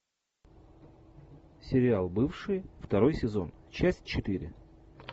сериал бывшие второй сезон часть четыре